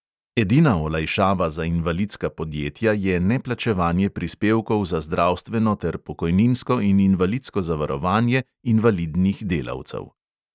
Edina olajšava za invalidska podjetja je neplačevanje prispevkov za zdravstveno ter pokojninsko in invalidsko zavarovanje invalidnih delavcev.